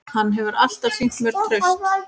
Hann hefur alltaf sýnt mér traust